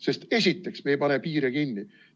Sest esiteks: me ei pane piire kinni.